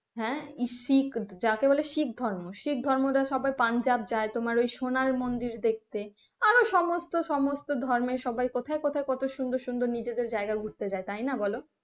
হ্যাঁ ইশিখ যাকে বলে শিখ ধর্ম, শিখ ধর্ম রা সবাই পাঞ্জাব যাই তোমার সোনার মন্দির দেখতে আরো সমস্ত সমস্ত ধর্মের সবাই কোথায় কোথায় কত সুন্দর সুন্দর নিজেদের জায়গায় ঘুরতে যাই তাই না?